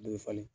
Dɔ ye falen